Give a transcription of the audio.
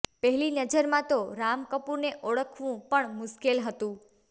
પહેલી નજરમાં તો રામ કપૂરને ઓળખવું પણ મુશ્કેલ હતું